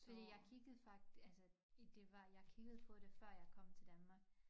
Fordi jeg kiggede altså i det var jeg kiggede på det før jeg kom til Danmark